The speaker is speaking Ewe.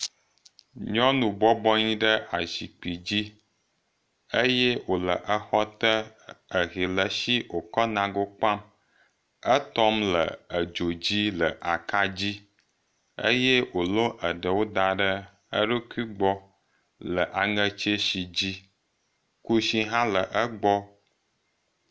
Nyɔnu bɔbɔnyi ɖe azikpui dzi eye wòle exɔ te ehe le eshi wòkɔ le nago kpam, etɔm le edzo dzo le akadzi, eye wòlɔ eɖewo da ɖe eɖokui gbɔ le aŋe tsɛshi dzi kushi hã le egbɔ.